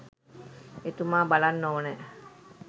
එතුමා බලන්න ඕනැ.